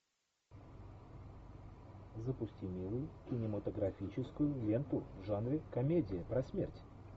запусти милую кинематографическую ленту в жанре комедия про смерть